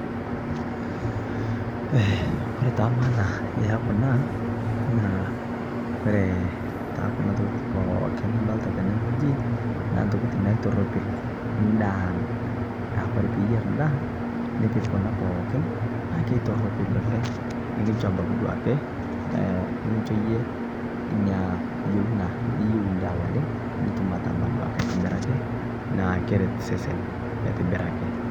Eeh kore taa [c] maana ya kuna eeh kore taa ntokitin pooki nadolita tenewueji naa ntokitin naitoropil ndaa ang. Aa kore pii enyeer ndaa nipiik kuna pookin naa keitoropil oleng kinchoo abaki duake ee nikinchoo eyee enya yeunaa niyeu ndaa oleng nituum ataama duak aitobiraki naa kereet sesen aitibiraki.